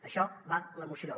d’això va la moció